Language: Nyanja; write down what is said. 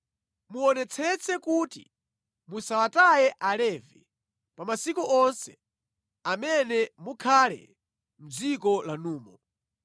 Muonetsetse kuti musawataye Alevi pa masiku onse amene mukhale mʼdziko lanumo.